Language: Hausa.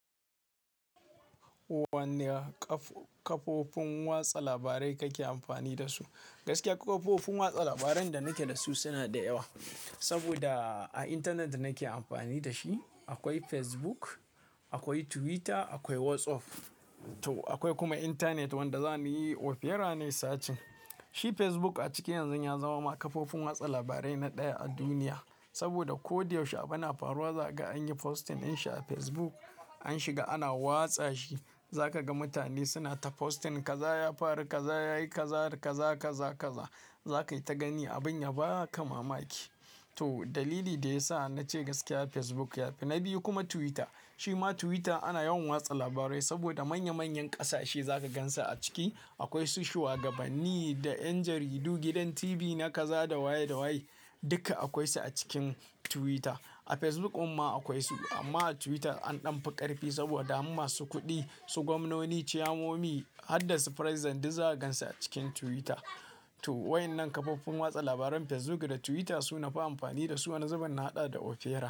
Wanne kafofin watsa labarai kake amfani dasu? Gaskiya kafofin watsa labaran da nake da su suna da yawa. Saboda a intanet nake amfani da shi. Akwai Facebook, akwai Twitter, akwai WhatsApp. To akwai kuma intanet wanda za ni yi opera ne sacin. Shi Facebook a ciki yanzu ya zama kafofin watsa labarai na ɗaya a duniya. Saboda ko da yaushe abu na faruwa za ka an yi posting in sha Facebook an shiga ana watsa shi. Za ka ga mutane suna ta posting kaza ya faru, kaza yayi kazar, kaza, kaza, kaza. Za ka yi ta gani abin yabaka mamaki. To dalili da ya sa na ce gaskiya Facebook ya fi, na biyu kuma Twitter. Shi ma Twitter ana yawan watsa labarai saboda manya manyan ƙasashe za ka gansu a ciki. Akwai su shuwagabanni da yan jaridu, gidan TV na kaza da waye da waye. Duka akwai su a cikin Twitter. A Facebook din ma akwai su. Amma a Twitter an ɗan fi ƙarfi saboda har masu kuɗi su gwamnoni, ciyomomi har da su President duk zaka gansu a cikin Twitter. To waɗannan kafofin watsa labaran Facebook da Twitter su ne na fi amfani dasu. Wani zubin na haɗa da opera.